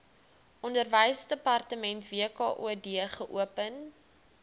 onderwysdepartement wkod geopen